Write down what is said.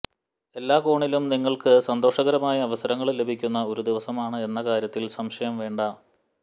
എല്ലാ കോണിലും നിങ്ങള്ക്ക് സന്തോഷകരമായ അവസരങ്ങള് ലഭിക്കുന്ന ഒരു ദിവസമാണ് എന്ന കാര്യത്തില് സംശയം വേണ്ട